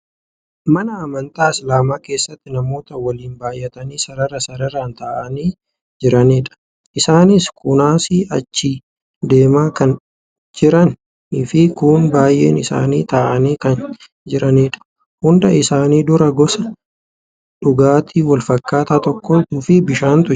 Mana amantaa islaamaa keessatti namoota waliin baay'atanii sarara sararaan ta'anii jiranidha. Isaanis kuunasii achi deemaa kan jiraniifi kuun baay'een isaanii taa'anii kan jiranidha. Hunda isaanii dura gosa dhugaatii walfakkaataa tokkoofi bishaantu jira.